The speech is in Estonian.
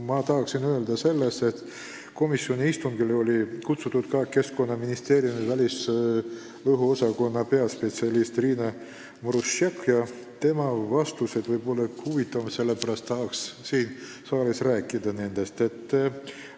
Ma tahan öelda seda, et komisjoni istungile oli teiste hulgas kutsutud ka Keskkonnaministeeriumi välisõhu osakonna peaspetsialist Riina Maruštšak ja tema vastused on võib-olla huvitavad, sellepärast tahaksin neist rääkida ka siin saalis.